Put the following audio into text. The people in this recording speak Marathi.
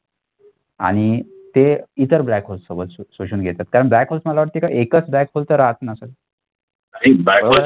आणि ते इतर black hole सोबत शोषून घेतात कारण black hole मला वाटते का एकच black hole चा राहत नसल